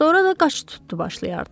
Sonra da qaçıb tutdu başlayardı.